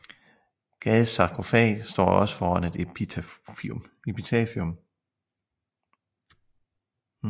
Gades sarkofag står også foran et epitafium